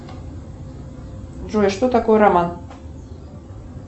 джой что такое роман